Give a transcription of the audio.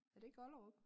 Er det ikke Ollerup?